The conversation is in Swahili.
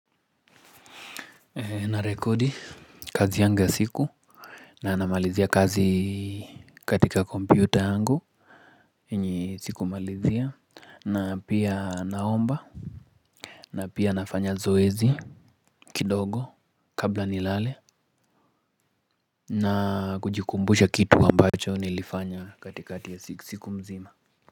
Narekodi kazi yangu ya siku. Na namalizia kazi katika kompyuta yangu hii ni siku malizia na pia naomba. Na pia nafanya zoezi kidogo kabla nilale. Na kujikumbusha kitu ambacho nilifanya katikati ya siku mzima.